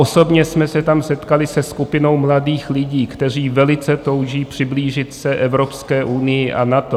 Osobně jsme se tam setkali se skupinou mladých lidí, kteří velice touží přiblížit se Evropské unii a NATO.